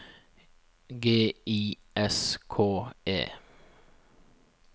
G I S K E